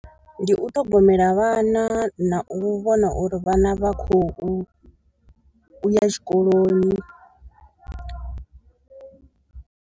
Ndi u ṱhogomela vhana na u vhona uri vhana vha khou ya tshikoloni.